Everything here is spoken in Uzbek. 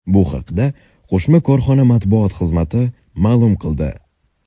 Bu haqda qo‘shma korxona matbuot xizmati ma’lum qildi .